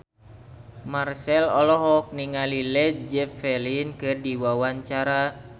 Marchell olohok ningali Led Zeppelin keur diwawancara